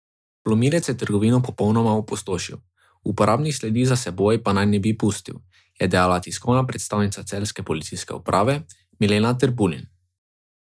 Vlomilec je trgovino popolnoma opustošil, uporabnih sledi za seboj pa naj ne bi pustil, je dejala tiskovna predstavnica celjske policijske uprave Milena Trbulin.